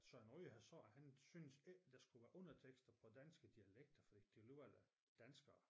Søren Ryge han sagde at han synes ikke der skulle være undertekster på danske dialekter fordi de alligevel er danskere